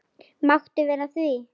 Máttu vera að því?